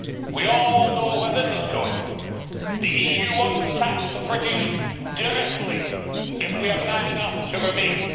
We all know where this is going the EU wants to tax the British directly, if we are mad enough to stay in.